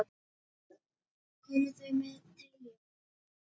Koma þau með treyju?